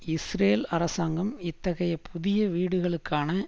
Israel அரசாங்கம் இத்தகைய புதிய வீடுகளுக்கான